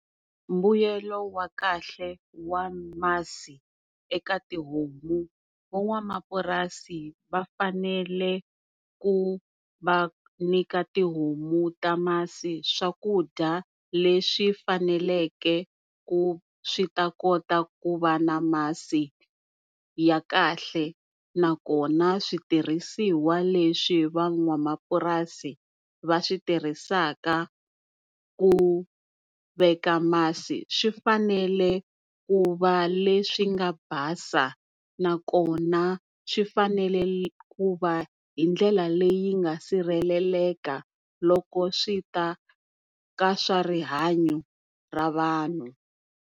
Mbuyelo wa kahle wa masi eka tihomu, van'wamapurasi vafanele ku va nyika tihomu ta masi swakudya leswi faneleke ku swi ta kota ku va na masi ya kahle nakona switirhisiwa leswi van'wamapurasi va swi tirhisaka ku veka masi swi fanele ku va leswi nga basa nakona swi fanele ku va hindlela leyi nga sirheleleka loko swi ta ka swa rihanyo ra vanhu.